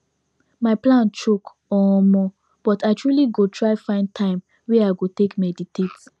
my plan choke omo but i truely go try find time wey i go take meditate